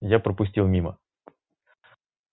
я пропустил мимо